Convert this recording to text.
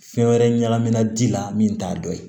Fɛn wɛrɛ ɲagamina ji la min t'a dɔ ye